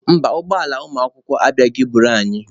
Mba, ụgbọ ala ụmụakwụkwọ abịabeghị I buru anyị.